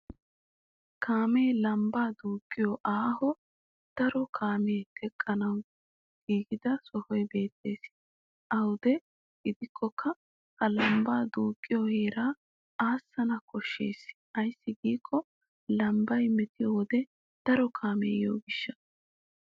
Kaamee lambbaa duuqqiyo aaho daro kaamee teqqanawu giigida sohoy beettes. Awude gidikkokka ha lambba duuqqiyo heeraa aasana koshshes ayssi giikko lambbay metiyo wode daro kaamee yiyo gishshaassa.